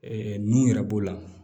nuw yɛrɛ b'o la